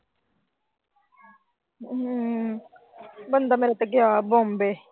ਬੰਦਾ ਮੇਰਾ ਤਾਂ ਗਿਆ ਬੰਬੇ।